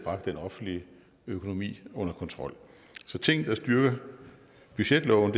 den offentlige økonomi under kontrol så ting der styrker budgetloven